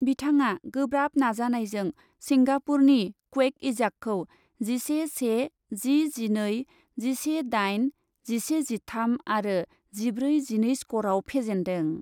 बिथाङा गोब्राब नाजानायजों सिंगापुरनि क्वेक इजाकखौ जिसे से, जि जिनै, जिसे दाइन, जिसे जिथाम आरो जिब्रै जिनै स्करआव फेजेन्दों।